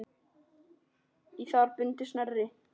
Í það er bundið snæri.